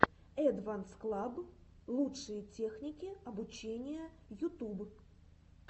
эдванс клаб лучшие техники обучения ютуб